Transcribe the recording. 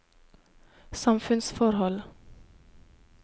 samfunnsforhold